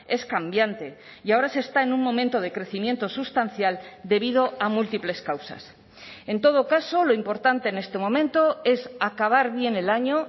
es cambiante y ahora se está en un momento de crecimiento sustancial debido a múltiples causas en todo caso lo importante en este momento es acabar bien el año